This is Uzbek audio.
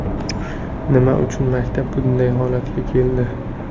Nima uchun maktab bunday holatga keldi?